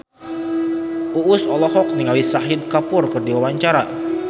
Uus olohok ningali Shahid Kapoor keur diwawancara